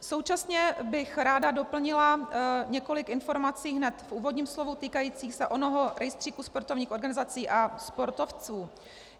Současně bych ráda doplnila několik informací hned v úvodním slovu týkajících se onoho rejstříku sportovních organizací a sportovců.